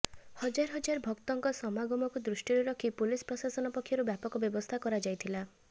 ହଜାର ହଜାର ଭକ୍ତଙ୍କ ସମାଗମକୁ ଦୃଷ୍ଟିରେ ରଖି ପୋଲିସ ପ୍ରଶାସନ ପକ୍ଷରୁ ବ୍ୟାପକ ବ୍ୟବସ୍ଥା କରାଯାଇଥିଲା